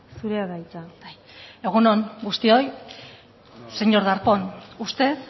zurea da hitza bai egun on guztioi señor darpón usted